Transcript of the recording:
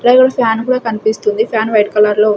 అలాగే ఒక ఫ్యాన్ కూడా కనిపిస్తుంది ఫ్యాన్ వైట్ కలర్ లో ఉ --